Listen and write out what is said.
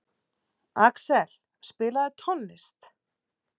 Axel, spilaðu tónlist.